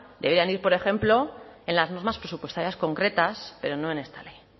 deberían ir por ejemplo en las normas presupuestarias concretas pero no en esta ley